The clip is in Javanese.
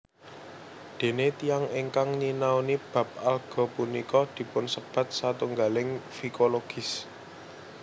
Dene tiyang ingkang nyinaoni bab alga punika dipunsebat satunggaling fikologis